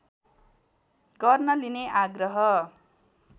गर्न लिने आग्रह